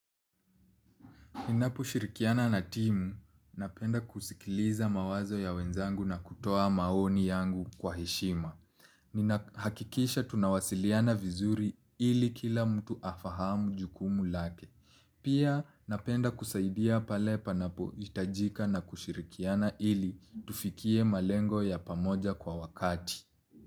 Ninapo shirikiana na timu, napenda kusikiliza mawazo ya wenzangu na kutoa maoni yangu kwa heshima. Ninahakikisha tunawasiliana vizuri ili kila mtu afahamu jukumu lake. Pia napenda kusaidia pale panapo hitajika na kushirikiana ili tufikie malengo ya pamoja kwa wakati.